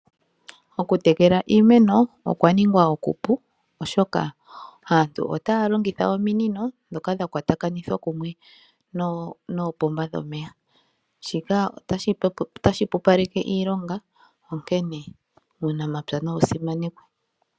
Okutekela iimeno okwa ningwa oku pu , oshoka aantu otaya longitha ominino ndhoka dha kwatakanithwa kumwe noopomba dhomeya. Shika otashi hwepopaleke iilonga onkene uunamapya nawu simanekwe.